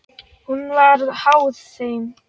Hún var háð þeim.